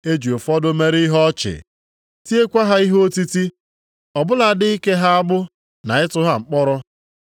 E ji ụfọdụ mere ihe ọchị, tiekwa ha ihe otiti, ọ bụladị ike ha agbụ na ịtụ ha mkpọrọ.